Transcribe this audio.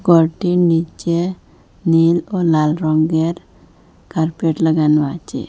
ঘরটির নীচে নীল ও লাল রঙ্গের কার্পেট লাগানো আছে।